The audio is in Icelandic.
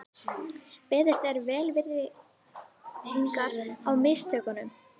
Beðist er velvirðingar á mistökunum